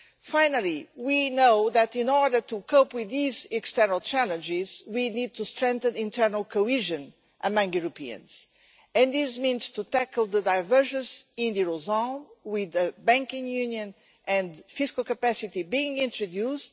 Finally, we know that, in order to cope with these external challenges, we need to strengthen internal cohesion among Europeans, and this means tackling the divergence in the eurozone, with the Banking Union and fiscal capacity being introduced.